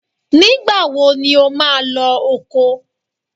Nígbà wo ni ò máa lọ oko?